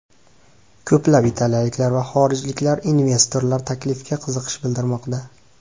Ko‘plab italiyaliklar va xorijlik investorlar taklifga qiziqish bildirmoqda.